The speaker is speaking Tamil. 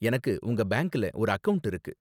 எனக்கு உங்க பேங்க்ல ஒரு அக்கவுண்ட் இருக்கு